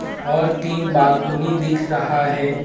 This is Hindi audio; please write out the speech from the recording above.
और तीन बालकोनी दिख रहा है।